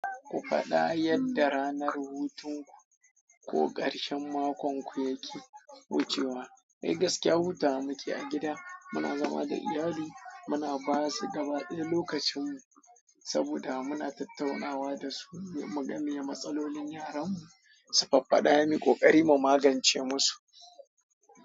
Ku faɗa yadda ranar hutun ku ko ƙarshen makon ku yake wucewa. E gaskiya, hutawa muke a gida, muna zama da iyali, muna ba su gaba ɗaya lokacinmu saboda muna tattaunawa da su, muga miye matsalolin yaranmu, su faffaɗa, mi ƙoƙari mu magance musu.